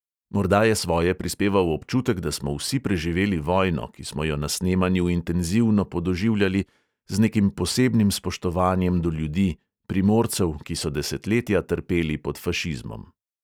Morda je svoje prispeval občutek, da smo vsi preživeli vojno, ki smo jo na snemanju intenzivno podoživljali z nekim posebnim spoštovanjem do ljudi, primorcev, ki so desetletja trpeli pod fašizmom.